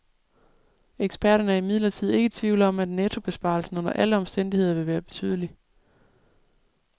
Eksperterne er imidlertid ikke i tvivl om, at nettobesparelsen under alle omstændigheder vil være betydelig.